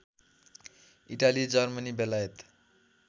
Italy Germany बेलायत